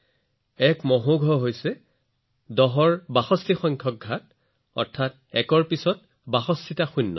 এটা মহৌঘ হৈছে ১০ ৰ ঘাট ৬২ ৰ সমান অৰ্থাৎ একৰ পিছত বাষষ্ঠিটা শূন্য